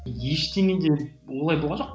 ештеңе де олай болған жоқ